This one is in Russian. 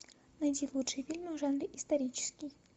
найди лучшие фильмы в жанре исторический